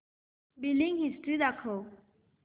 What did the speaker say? billing history दाखव